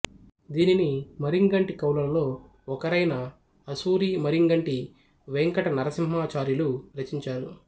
దీనిని మరింగంటి కవులలో ఒకరైన ఆసూరి మఱింగంటి వేంకట నరసింహాచార్యులు రచించారు